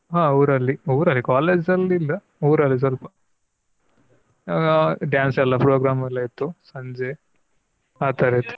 ಹ ಊರಲ್ಲಿ, ಊರಲ್ಲಿ college ಅಲ್ಲಿ ಇಲ್ಲ ಊರಲ್ಲಿ ಸ್ವಲ್ಪ ಹ dance ಎಲ್ಲ Program ಎಲ್ಲ ಇತ್ತು ಸಂಜೆ ಆತರದ್ದು.